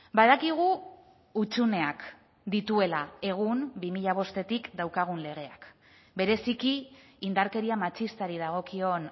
badakigu hutsuneak dituela egun bi mila bostetik daukagun legeak bereziki indarkeria matxistari dagokion